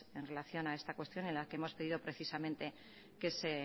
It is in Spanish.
en relación a esta cuestión en la que hemos pedido precisamente que se